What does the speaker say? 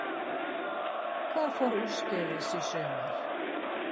Hvað fór úrskeiðis í sumar?